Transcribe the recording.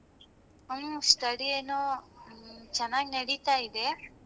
ಹ್ಮ್ study ಏನೋ ಆ ಚನಾಗಿ ನಡೀತಾ ಇದೆ.